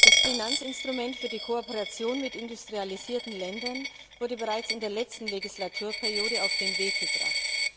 Das Finanzinstrument für die Kooperation mit industrialisierten Ländern wurde bereits in der letzten Legislaturperiode auf den Weg gebracht.